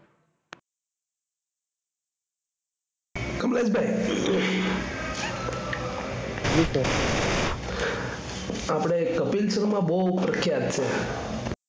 કમલેશભાઈ આપણે કપિલ શર્મા બહુ પ્રખ્યાત છે.